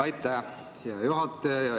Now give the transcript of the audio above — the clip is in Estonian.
Aitäh, hea juhataja!